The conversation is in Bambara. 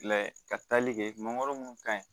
ka tali kɛ mangoro mun ka ɲi